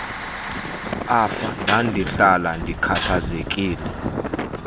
afa ndandihlala ndikhathazekile